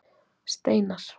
Steinar